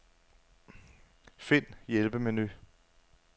Find hjælpemenu.